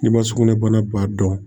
N'i ma sugunɛbana ba dɔn